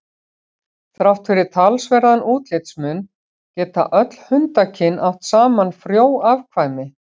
Þrátt fyrir talsverðan útlitsmun geta öll hundakyn átt saman frjó afkvæmi.